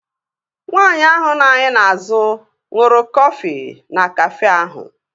Nwaanyị ahụ nọ anyị n'azụ ṅụrụ kọfị na Kafé ahụ